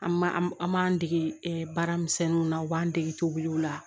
An ma an m'an dege baaramisɛnninw na u b'an dege tobiliw la